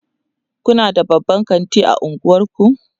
Kuna da babban kanti a unguwanku?